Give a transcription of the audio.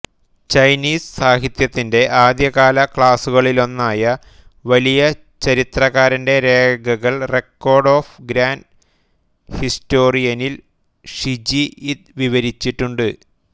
Chinese സാഹിത്യത്തിന്റെ ആദ്യകാല ക്ലാസിക്കുകളിലൊന്നായ വലിയ ചരിത്രകാരന്റെ രേഖകൾറെക്കോർഡ്സ് ഓഫ് ഗ്രാൻഡ് ഹിസ്റ്റോറിയനിൽ ഷിജി ഇത് വിവരിച്ചിട്ടുണ്ട്